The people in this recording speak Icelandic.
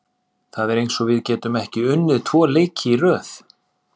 Það er eins og við getum ekki unnið tvo leiki í röð.